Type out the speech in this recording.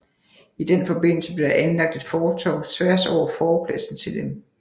I den forbindelse blev der anlagt et fortov tværs over forpladsen til dem